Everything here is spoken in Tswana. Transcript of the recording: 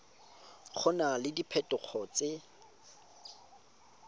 go na le diphetogo tse